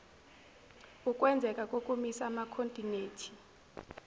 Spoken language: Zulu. ukwenzeka kokumisa amakhontinethi